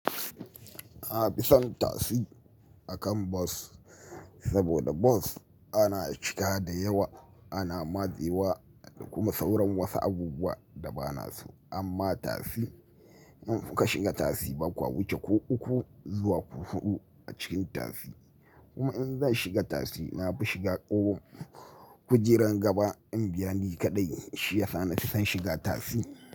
Na fi son tasi akan bas saboda bas ana cika da yawa, ana matsewa kuma sauran wasu abubuwa da ba na so. Amma tasi in kuka shiga tasi bakwa wuce ko uku zuwa ku hudu a cikin tasi. Kuma in zan shiga tasi na fi shiga ko kujerar gaba in biya ni kaɗai shi yasa nafi son shiga tasi.